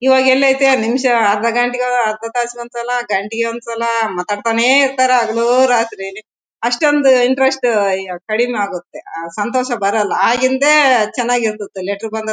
ಇವಾಗ್ ಎಲ್ಲಿದೆ ನಿಮಿಷ ಅರ್ಧ ಗಂಟೆ ಅರ್ಧ ತಾಸ್ ಗೆ ಒಂದ್ಸಲ ಗಂಟೆ ಗೆ ಒಂದ್ಸಲ ಮಾತಾಡ್ ತಾನೇ ಇರ್ತಾರೆ ಹಗಲು ರಾತ್ರಿ ಅಷ್ಟೊಂದು ಇಂಟ್ರೆಸ್ಟ್ ಆಗತ್ತೆ ಅಹ್ ಸಂತೋಷ ಬರಲ್ಲಾ ಆಗಿಂದೇ ಚನಾಗಿರುತ್ತಿತ್ತು ಲೆಟರ್ ಬಂದದ್--